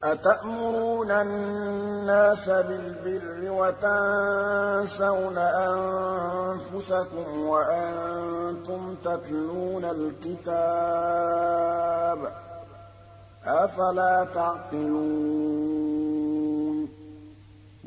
۞ أَتَأْمُرُونَ النَّاسَ بِالْبِرِّ وَتَنسَوْنَ أَنفُسَكُمْ وَأَنتُمْ تَتْلُونَ الْكِتَابَ ۚ أَفَلَا تَعْقِلُونَ